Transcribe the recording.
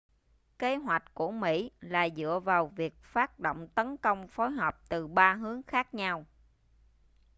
kế hoạch của mỹ là dựa vào việc phát động tấn công phối hợp từ ba hướng khác nhau